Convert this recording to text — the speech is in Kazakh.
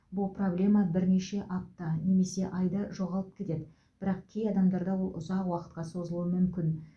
бұл проблема бірнеше апта немесе айда жоғалып кетеді бірақ кей адамдарда ол ұзақ уақытқа созылуы мүмкін